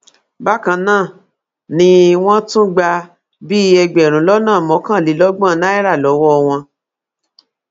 bákan náà ni wọn tún gbà bíi ẹgbẹrún lọnà mọkànlélọgbọn náírà lọwọ wọn